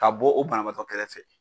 Ka bɔ o banabaatɔ kɛrɛfɛ